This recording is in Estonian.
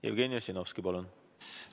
Jevgeni Ossinovski, palun!